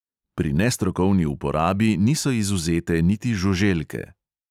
Pri nestrokovni uporabi niso izvzete niti žuželke.